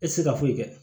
E tɛ se ka foyi kɛ